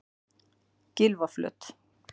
Gylfaflöt